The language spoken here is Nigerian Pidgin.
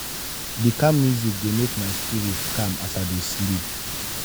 di calm music dey make my spirit calm as i dey sleep.